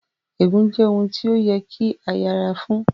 Ègún jẹ́ ohun tí ó yẹ kí a yẹra fún